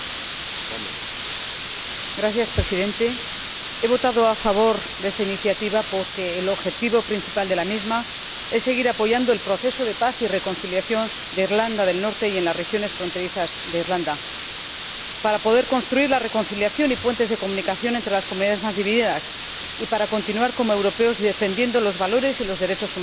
Señor Presidente, he votado a favor de esta iniciativa porque el objetivo principal de la misma es seguir apoyando el proceso de paz y reconciliación en Irlanda del Norte y en las regiones fronterizas de Irlanda, para poder construir la reconciliación y puentes de comunicación entre las comunidades más divididas y para continuar, como europeos, defendiendo los valores y los derechos humanos.